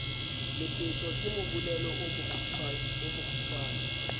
lepetjo ke mobolelo o mokgutshwane